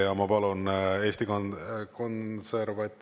Ja ma palun Eesti Konserva…